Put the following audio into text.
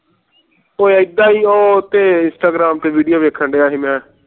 ਉਹ ਏਦਾਂ ਹੀ ਉਹ ਤੇ instagram ਤੇ video ਵੇਖੰਡੀਆ ਸੀ ਮੈਂ